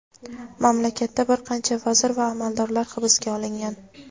Mamlakatda bir qancha vazir va amaldorlar hibsga olingan.